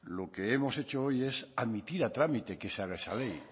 lo que hemos hecho hoy es admitir a trámite que se haga esa ley